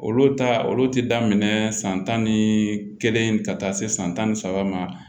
Olu ta olu ti daminɛ san tan ni kelen ka taa se san tan ni saba ma